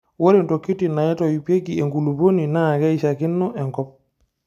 Ore ntokitin naitoipieki enkulupuoni naakeiishakino enkop.